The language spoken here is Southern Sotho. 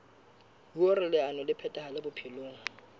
hoer leano le phethahale bophelong